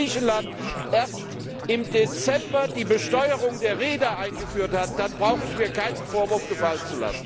Und wenn Griechenland erst im Dezember die Besteuerung der Reeder eingeführt hat, dann brauche ich mir keinen Vorwurf gefallen zu lassen!